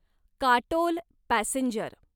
Katol passenger